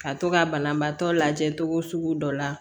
Ka to ka banabaatɔ lajɛ togo sugu dɔ la